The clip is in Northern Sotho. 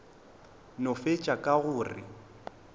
no fetša ka go re